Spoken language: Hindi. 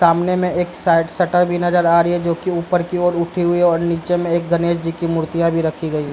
सामने में एक साइड शटर भी नजर आ रही है जो की ऊपर की और उठी हुई और नीचे में एक गणेश जी की मुर्तियाँ भी रखी गयी है।